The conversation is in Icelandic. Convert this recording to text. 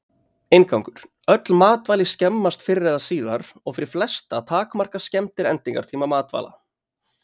Inngangur Öll matvæli skemmast fyrr eða síðar og fyrir flesta takmarka skemmdir endingartíma matvæla.